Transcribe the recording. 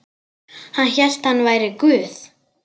Hann hélt hann væri Guð.